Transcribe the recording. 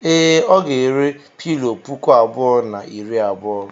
Ee, ọ ga-ere pilọ puku abụọ na iri abuo.